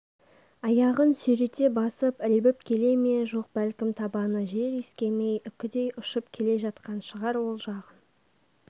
аяғын сүйрете басып ілбіп келе ме жоқ бәлкім табаны жер иіскемей үкідей ұшып келе жатқан шығар ол жағын